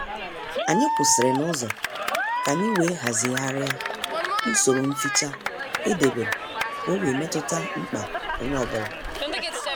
Anyị kwụsịrị n'uzo ka anyị wee hazigharia usoro mficha edebere ka ọ wee metuta mkpa onye ọ bụla